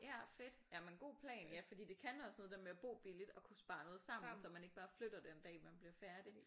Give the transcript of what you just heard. Ja fedt jamen godt plan ja for det kan også noget det der med at bo billigt og kunne spare noget sammen så man ikke bare flytter den dag man bliver færdig